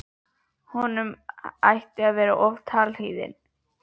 Honum hætti til að vera of talhlýðinn.